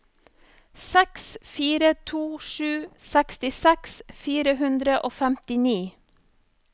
seks fire to sju sekstiseks fire hundre og femtini